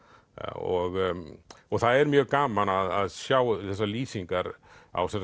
og það er mjög gaman að sjá þessar lýsingar á